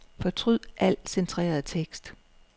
Fortryd al centreret tekst.